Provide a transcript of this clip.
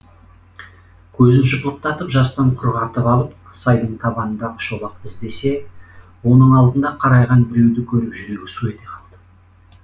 көзін жыпылықтатып жастан құрғатып алып сайдың табанындағы шолақты іздесе оның алдында қарайған біреуді көріп жүрегі су ете қалды